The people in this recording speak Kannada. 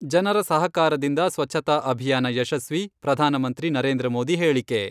ಜನರ ಸಹಕಾರದಿಂದ ಸ್ವಚ್ಛತಾ ಅಭಿಯಾನ ಯಶಸ್ವಿ, ಪ್ರಧಾನಮಂತ್ರಿ ನರೇಂದ್ರ ಮೋದಿ ಹೇಳಿಕೆ.